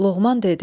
Loğman dedi: